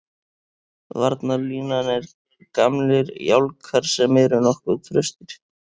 Varnarlínan er gamlir jálkar sem eru nokkuð traustir.